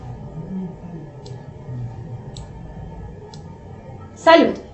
салют